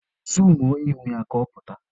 Zuumuo ihu ya ka ọ pụta!